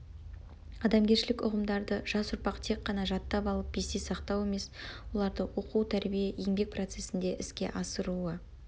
адамгершілік ұғымдарды жас ұрпақ тек қана жаттап алып есте сақтау емес оларды оқу тәрбие еңбек процесінде іске асыруы